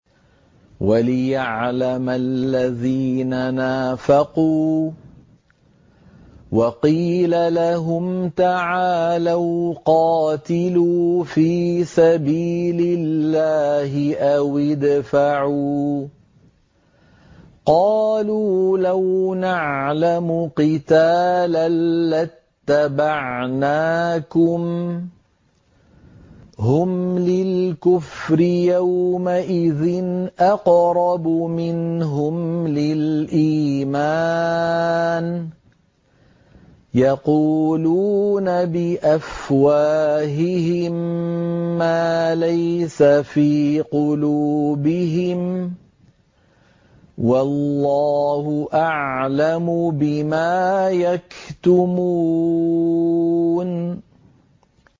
وَلِيَعْلَمَ الَّذِينَ نَافَقُوا ۚ وَقِيلَ لَهُمْ تَعَالَوْا قَاتِلُوا فِي سَبِيلِ اللَّهِ أَوِ ادْفَعُوا ۖ قَالُوا لَوْ نَعْلَمُ قِتَالًا لَّاتَّبَعْنَاكُمْ ۗ هُمْ لِلْكُفْرِ يَوْمَئِذٍ أَقْرَبُ مِنْهُمْ لِلْإِيمَانِ ۚ يَقُولُونَ بِأَفْوَاهِهِم مَّا لَيْسَ فِي قُلُوبِهِمْ ۗ وَاللَّهُ أَعْلَمُ بِمَا يَكْتُمُونَ